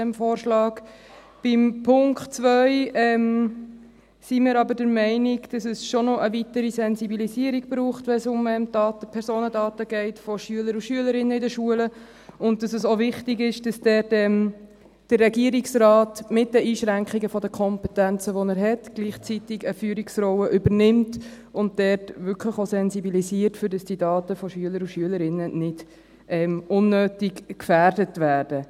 Beim Punkt 2 sind wir aber der Meinung, dass es schon noch eine weitere Sensibilisierung braucht, wenn es um Daten, Personendaten geht von Schülern und Schülerinnen in den Schulen, und dass es auch wichtig ist, dass dort der Regierungsrat mit den Einschränkungen der Kompetenzen, die er hat, gleichzeitig eine Führungsrolle übernimmt und dort wirklich auch sensibilisiert, damit die Daten von Schülern und Schülerinnen nicht unnötig gefährdet werden.